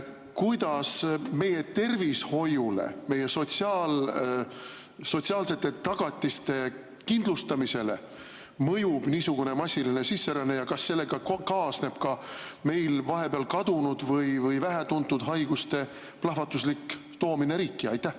Kuidas meie tervishoiule, meie sotsiaalsete tagatiste kindlustamisele mõjub niisugune massiline sisseränne ja kas sellega kaasneb ka meil vahepeal kadunud olnud või vähetuntud haiguste plahvatuslik toomine riiki?